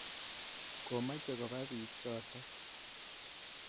Komache kopa piik chotok.